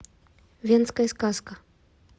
венская сказка